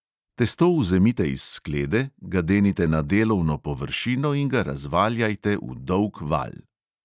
Testo vzemite iz sklede, ga denite na delovno površino in ga razvaljajte v dolg valj.